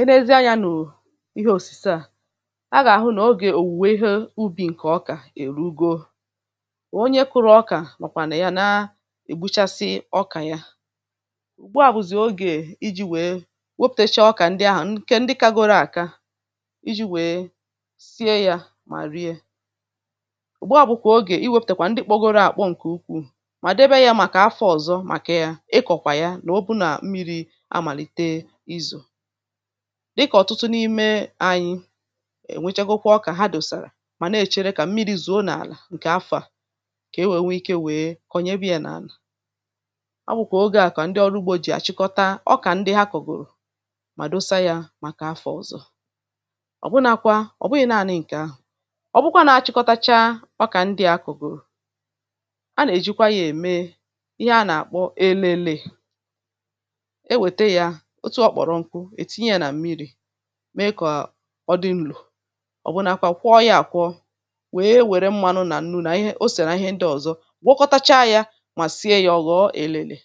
enezi anyȧ nụ̀ ihe òsìse ha ga-àhụ nà ogè òwùwè ihe ubì ǹkè ọkà èru ego ò onye kụrụ ọkà màkwà nà ya na ègbuchasị ọkà ya ụ̀gbu àbụ̀zị̀ ogè iji̇ wèe wepụ̀techa ọkà ndị ahụ̀ nkè ndị kagoro àka iji̇ wèe sie yȧ mà rie ụ̀gbọ̀bụ̀kwà ogè iwepùtèkwà ndị kpọgoro àkpọ ǹkè ukwuù mà debe ya màkà afọ ọ̀zọ màkà ya ị kọ̀kwà ya nà o bụ nà mmiri̇ dịkà ọtụtụ n’ime anyị è nwechagokwa ọkà ha dòsàrà mà na-èchere kà mmiri̇ zùo n’àlà ǹkè afà kà ewe nwee ikė nwèe kọnyebe yȧ n’àlà a bụ̀kwà oge à kà ndị ọrụ ugbȯ jì àchịkọta ọkà ndị ha kọ̀gòrò mà dosa yȧ màkà afà ọ̀zọ ọ̀ bụnakwa, ọ̀ bụghị̇ naȧnị ǹkè ahụ̀ ọ bụkwa na-achịkọtacha ọkà ndị à kọ̀gòrò a nà-èjikwa yȧ ème ihe a nà-àkpọ elele mee kọ̀ọ dị ǹlò ọ̀bụnȧkwȧ kwọ ya àkwọ wèe wère mmanụ nà nnu nà ihe o sèrè ihe ndị ọ̀zọ gwakọtacha ya mà sie yȧ ọ̀ghọ̀ èlèlè